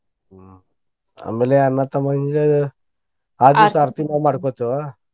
ಹ್ಮ್ ಆಮೇಲೆ ಅಣ್ಣಾ ತಮ್ಮಾ ಹಿಂಗ ಆ ದಿವ್ಸ ಆರ್ತಿ ನಾವ್ ಮಾಡ್ಕೊತೇವ.